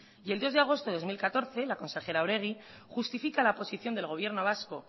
y el dos de agosto de dos mil catorce la consejera oregi justifica la posición del gobierno vasco